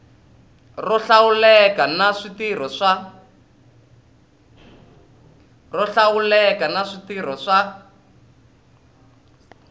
ro hlawuleka na switirho swa